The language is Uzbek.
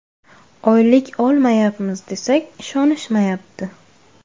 Oylik olmayapmiz desak, ishonishmayapti.